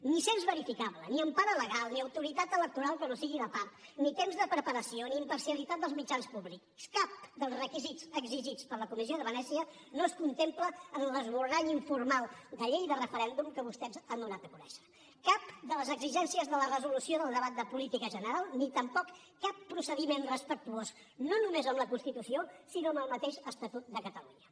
ni cens verificable ni empara legal ni autoritat electoral que no sigui de part ni temps de preparació ni imparcialitat dels mitjans públics cap dels requisits exigits per la comissió de venècia no es contempla en l’esborrany informal de llei de referèndum que vostès han donat a conèixer cap de les exigències de la resolució del debat de política general ni tampoc cap procediment respectuós no només amb la constitució sinó amb el mateix estatut de catalunya